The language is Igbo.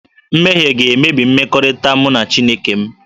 Mmehie ga-emebi mmekọrịta mụ na Chineke m